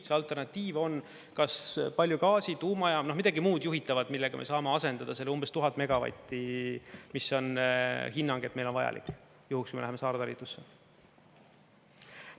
See alternatiiv on kas palju gaasi, tuumajaam, midagi muud juhitavat, millega me saame asendada selle umbes 1000 megavatti, mis on hinnang, et meil on vajalik juhuks, kui me läheme saartalitlusse.